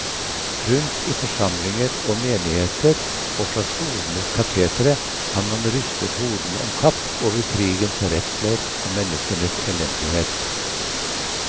Rundt i forsamlinger og menigheter og fra skolenes katetre har man rystet hodene omkapp over krigens redsler og menneskenes elendighet.